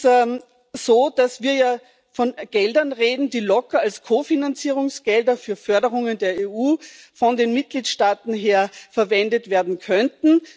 Es ist so, dass wir von Geldern reden, die von den Mitgliedstaaten locker als Ko Finanzierungsgelder für Förderungen der EU verwendet werden könnten.